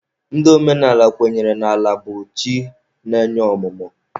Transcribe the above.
Ndị omenala kwenyere na Ala bụ chi na-enye ọmụmụ.